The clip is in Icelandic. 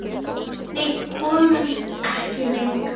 Við komumst ekki lengra.